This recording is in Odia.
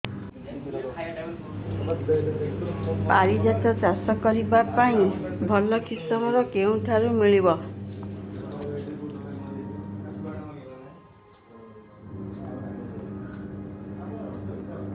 ପାରିଜାତ ଚାଷ କରିବା ପାଇଁ ଭଲ କିଶମ କେଉଁଠାରୁ ମିଳିବ